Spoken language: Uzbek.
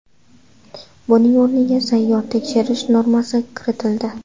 Buning o‘rniga sayyor tekshirish normasi kiritildi.